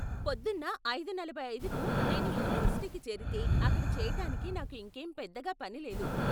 పొద్దున్న ఐదు నలభై ఐదుకి నేను యూనివర్సిటీకి చేరితే అక్కడ చేయటానికి నాకు ఇంకేం పెద్దగా పని లేదు.